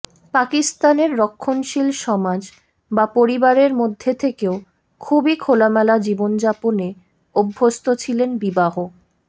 পাকিস্তানের রক্ষণশীল সমাজ বা পরিবারের মধ্যে থেকেও খুবই খোলামেলা জীবনযাপনে অভ্যস্ত ছিলেন বিবাহ